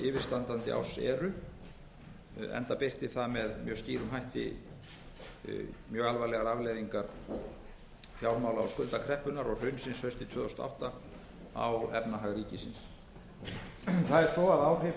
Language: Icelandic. yfirstandandi árs eru enda birti það með mjög skýrum hætti mjög alvarlegar afleiðingar fjármála og skuldakreppunnar og hrunsins haustið tvö þúsund og átta á efnahag ríkisins það er svo að áhrif